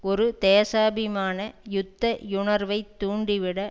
ஒரு தேசாபிமான யுத்த யுணர்வைத் தூண்டி விட